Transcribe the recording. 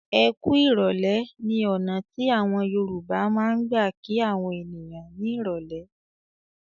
"Ẹ kú ìrọ́lẹ́" ní ọ̀nà tí àwọn Yorùbá máa ń gbà kí àwọn ènìyàn ní ìrọ́lẹ́.